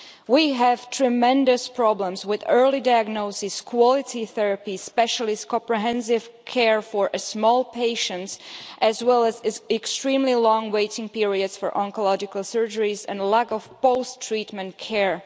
We have tremendous problems with early diagnosis, quality therapy and specialist comprehensive care for small patients, as well as extremely long waiting periods for oncological surgeries and lack of post treatment care.